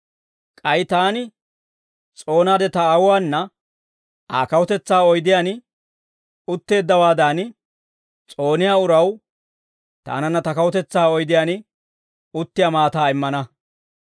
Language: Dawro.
K'ay taani s'oonaade ta Aawuwaana Aa kawutetsaa oydiyaan utteeddawaadan, s'ooniyaa uraw taananna ta kawutetsaa oydiyaan uttiyaa maataa immana.